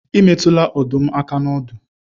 Ị metụla ọdụm aka n'ọdụ.